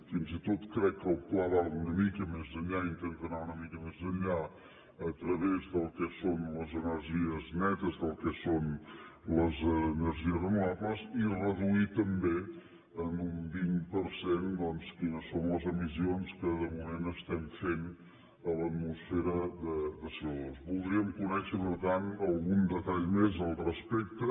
fins i tot crec que el pla va una mica més enllà intenta anar una mica més enllà a través del que són les energies netes del que són les energies renovables i reduir també en un vint per cent doncs quines són les emissions que de moment estem fent a l’atmosfera de comés al respecte